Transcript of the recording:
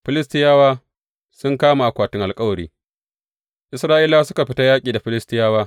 Filistiyawa sun kama akwatin alkawari Isra’ilawa suka fita yaƙi da Filistiyawa.